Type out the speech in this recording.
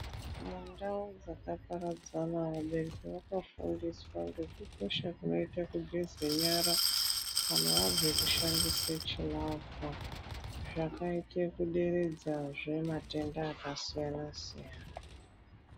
Mundau dzakaparadzana ,vanthu vakafundiswa ngekukosha kwakaita kugeze nyara kana wabva kushandise chiravha, zvakaite kuderedzazve matenda akasiyana siyana.